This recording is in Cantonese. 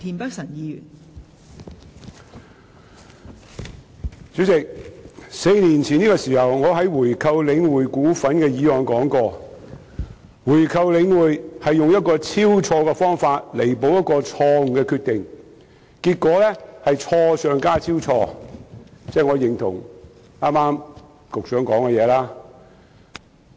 代理主席 ，4 年前的這個時候，我在討論有關購回領匯股份的議案時說過，購回領匯是以超錯的方法彌補錯誤的決定，結果是錯上加錯，即我認同局長剛才的說話。